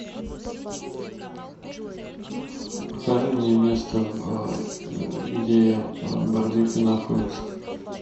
покажи мне место где барбекю находится